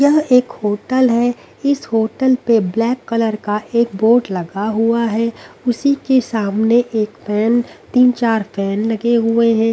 यह एक होटल है इस होटल पे ब्लैक कलर का एक बोर्ड लगा हुआ है उसी के सामने एक फैन तीन चार फैन लगे हुए हैं।